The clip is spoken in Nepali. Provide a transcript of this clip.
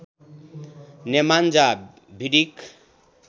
Nemanja Vidic